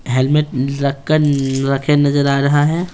Helmet रखकर रखे नजर आ रहा है।